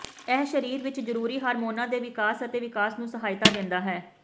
ਇਹ ਸਰੀਰ ਵਿਚ ਜ਼ਰੂਰੀ ਹਾਰਮੋਨਾਂ ਦੇ ਵਿਕਾਸ ਅਤੇ ਵਿਕਾਸ ਨੂੰ ਸਹਾਇਤਾ ਦਿੰਦਾ ਹੈ